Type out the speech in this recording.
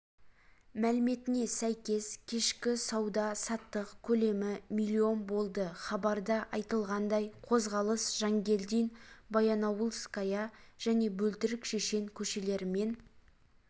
мәліметіне сәйкес кешкі сауда-саттық көлемі миллион болды хабарда айтылғандай қозғалыс жангелдин баянауылская және бөлтірік шешен көшелерімен